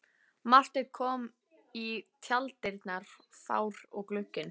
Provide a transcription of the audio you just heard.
Marteinn kom í tjalddyrnar fár og gugginn.